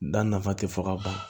Da nafa tɛ fɔ ka ban